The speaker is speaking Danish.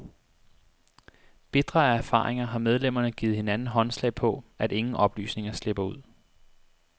Bitre af erfaringer har medlemmerne givet hinanden håndslag på, at ingen oplysninger slipper ud.